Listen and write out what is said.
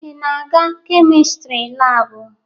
Ị na-aga Kemịstri laabụ?